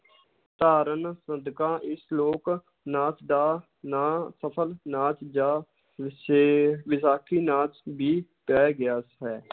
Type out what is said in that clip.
ਧਾਰਨ ਸਦਕਾ ਇਸ ਲੋਕ ਨਾਚ ਦਾ ਨਾਂ ਸਫ਼ਲ ਨਾਚ ਜਾਂ ਵਿਸ਼ੇ~ ਵਿਸਾਖੀ ਨਾਚ ਵੀ ਪੈ ਗਿਆ ਹੈ।